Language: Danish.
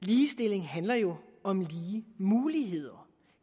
ligestilling handler jo om lige muligheder